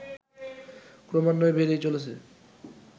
ক্রমান্বয়ে বেড়েই চলেছে